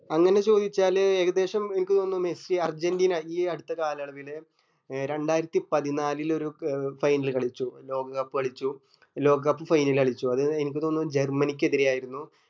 അങ്ങനെ ചോയിച്ചാല് ഏകദേശം അനക്ക് തോന്നുന്നു മെസ്സി അർജന്റീന ഇനി ഈ അടുത്ത കാലയളവില് രണ്ടായിരത്തി പതിനാലിലൊരു final കളിച്ചു ലോക cup കളിച്ചു ലോക cup final കളിച്ചു അത് അനക് തോന്നുന്നു ജെർമനിക് എതിരെ ആയിരുന്നു